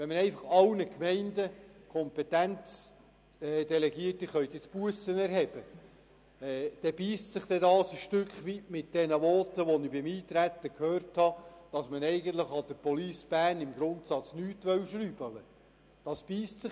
Wenn man einfach an alle Gemeinden die Kompetenz zur Bussenerhebung delegiert, beisst sich das ein Stück weit mit den Voten, die ich beim Eintreten gehört habe, wonach man an der Police Bern im Grundsatz nicht schrauben will.